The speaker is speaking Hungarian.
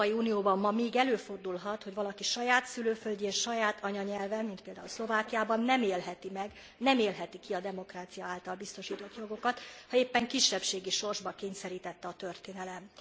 Az Európai Unióban ma még előfordulhat, hogy valaki saját szülőföldjén, saját anyanyelven mint például Szlovákiában nem élheti meg, nem élheti ki a demokrácia által biztosított jogokat, ha éppen kisebbségi sorsba kényszerítette a történelem.